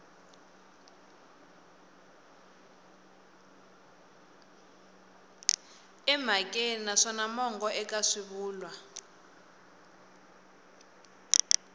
emhakeni naswona mongo eka swivulwa